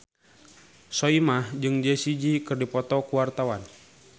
Soimah jeung Jessie J keur dipoto ku wartawan